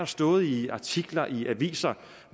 stået i artikler i aviser